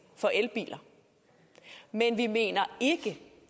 for elbiler men vi mener ikke